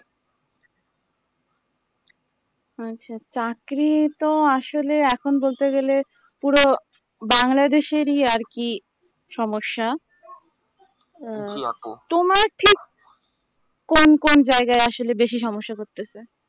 আচ্ছা চাকরি টা আসলে এখন বলতে গেলে পুরো বাংলাদেশেরই আরকি সমস্যা তোমার ঠিক কোন কোন জায়গায় আসলে বেশি সমস্যা করতেছে